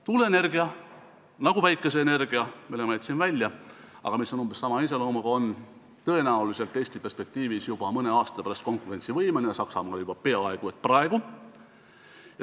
Tuuleenergia, nagu ka päikeseenergia, mille ma välja jätsin, aga mis on umbes sama iseloomuga, on tõenäoliselt Eesti perspektiivis juba mõne aasta pärast konkurentsivõimeline, Saksamaal on ta seda juba peaaegu et praegu.